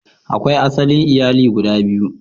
Akwai asali iyali guda biyu.